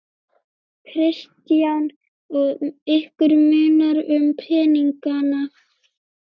Kristján: Og ykkur munar um peningana?